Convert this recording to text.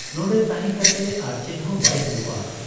ᱱᱚᱱᱰᱮ ᱛᱟᱦᱮᱸ ᱠᱟᱛᱮ ᱟᱨ ᱪᱮᱫᱦᱚᱸ ᱵᱟᱭ ᱦᱩᱭᱩᱜ ᱟ ᱾